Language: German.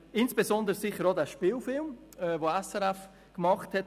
Insbesondere ist sicher auch der Spielfilm sehr sehenswert, den SRF gemacht hat.